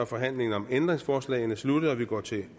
forhandlingen om ændringsforslagene sluttet og vi går til